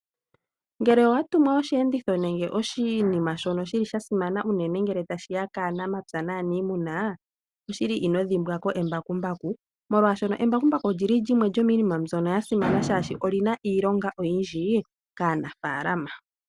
Ngele owa tumwa osheenditho nenge oshinima shono shili shasimana unene ngele tashiya kaanamapya naanimuna, oshili ino dhimbwa ko embakumbaku. Molwashono embakumbaku olyili lyimwe lyomiinima mbyoka yasimana shaashi oli na iilonga oyindji kaanafalama.